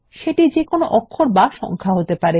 সেটি একটি হরফ বা সংখ্যা হতে পারে